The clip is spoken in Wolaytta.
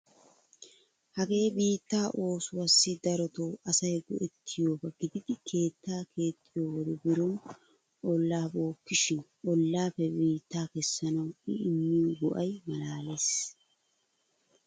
Hagee biittaa oosuwassi darotoo asay go'ettiyoba gididi keettaa keexxiyo wode biron ollaa bookkishin ollaappe biittaa kessanawu I immiyo go'ay maalaalees!